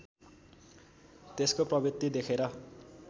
त्यसको प्रवृत्ति देखेर